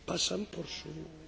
Van egy álmom!